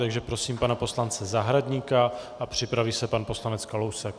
Takže prosím pana poslance Zahradníka a připraví se pan poslanec Kalousek.